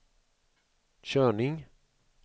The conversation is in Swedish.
körning